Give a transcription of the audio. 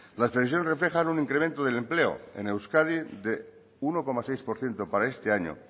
las previsiones reflejan un incremento del empleo en euskadi de uno coma seis por ciento para este año